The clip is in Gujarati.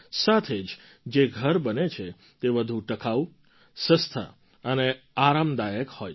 સાથે જ જે ઘર બને છે તે વધુ ટકાઉ સસ્તાં અને આરામદાયક હોય છે